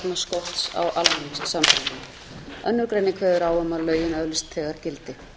önnur grein kveður á um að lögin öðlist þegar gildi